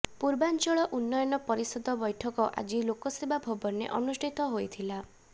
ପୂର୍ବାଞ୍ଚଳ ଉନ୍ନୟନ ପରିଷଦ ବୈଠକ ଆଜି ଲୋକସେବା ଭବନରେ ଅନୁଷ୍ଠିତ ହୋଇଥିଲା